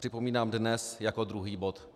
Připomínám, dnes jako druhý bod.